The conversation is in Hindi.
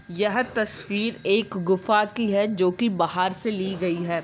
यह तस्वीर एक गुफा की है जो की बाहर से ली गई है।